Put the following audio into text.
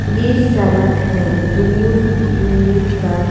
ये सड़क है दूर दूर तक।